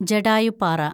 Jatayupara